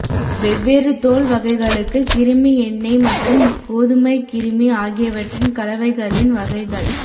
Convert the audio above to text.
வெவ்வேறு தோல் வகைகளுக்கு கிருமி எண்ணெய் மற்றும் கோதுமை கிருமி ஆகியவற்றின் கலவைகளின் வகைகள்